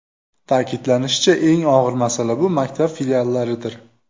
Ta’kidlanishicha, eng og‘ir masala bu maktab filiallaridir.